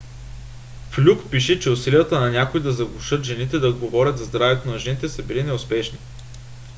флюк пише че усилията на някои да заглушат жените да говорят за здравето на жените са били неуспешни